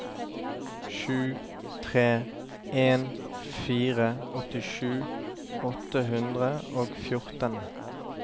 sju tre en fire åttisju åtte hundre og fjorten